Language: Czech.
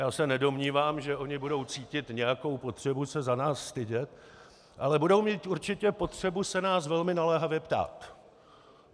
Já se nedomnívám, že ony budou cítit nějakou potřebu se za nás stydět, ale budou mít určitě potřebu se nás velmi naléhavě ptát.